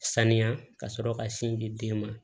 Sanuya ka sɔrɔ ka sin di den ma